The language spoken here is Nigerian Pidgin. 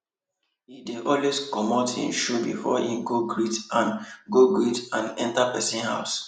he dey always comot him shoe before he go greet and go greet and enter person house